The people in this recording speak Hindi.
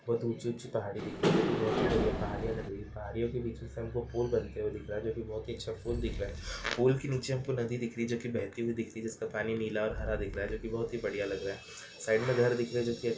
बहोत ऊंची ऊंची पहाड़ी दिख रही है जोकी बहुत ही बड़िया पहाड़ीयां लग रही है पहाड़ियों के बीच मे से फूल बनते हुये दिख रहा है जो की बहुत ही अच्छा फूल दिख रहा है फूल के नीचे हमको नदी दिख रही है जोकी बहती हुइ दिख रही है जिस का पानी नीला और हरा दिख रहा है जोकी बहुत ही बड़िया लग रहा है साइड मे घर दिख रहे है जोकी--